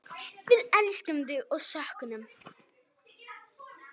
Við elskum þig og söknum.